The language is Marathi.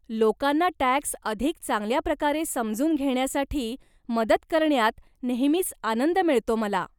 लोकांना टॅक्स अधिक चांगल्या प्रकारे समजून घेण्यासाठी मदत करण्यात नेहमीच आनंद मिळतो मला.